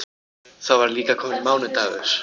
Þá var líka kominn mánudagur.